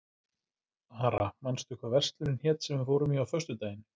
Ara, manstu hvað verslunin hét sem við fórum í á föstudaginn?